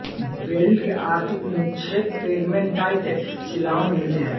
beryl के आर्थिक निक्षेप पेग्मेटाइट शिलाओं में मिलते हैं